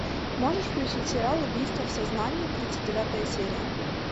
можешь включить сериал убийство в сознании тридцать девятая серия